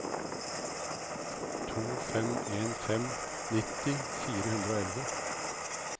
to fem en fem nitti fire hundre og elleve